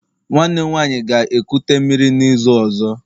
nwanne m nwanyi ga-ekuta mmiri n'izu ozo?